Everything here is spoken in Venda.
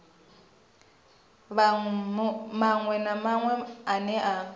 maṅwe na maṅwe ane a